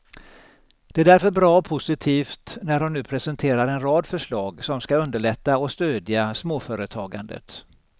Det är därför bra och positivt när hon nu presenterar en rad förslag som skall underlätta och stödja småföretagandet.